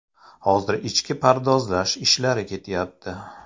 Hozir ichki pardozlash ishlari ketyapti.